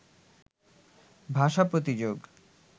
ভাষা প্রতিযোগ